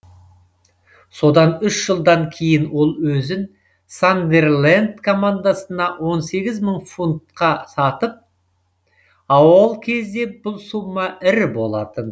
содан үш жылдан кейін ол өзін сандерленд командасына он сегіз мың фунтқа сатып а ол кезде бұл сумма ірі болатын